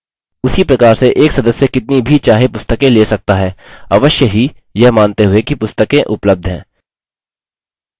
उसी प्रकार से एक सदस्य कितनी भी चाहे पुस्तकें ले सकता है अवश्य ही यह मानते हुए कि पुस्तकें उपलब्ध हैं